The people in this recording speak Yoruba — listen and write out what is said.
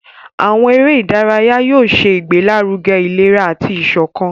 Àwọn eré ìdárayá yóò ṣe ìgbélaruge ìlera àti iṣọkan.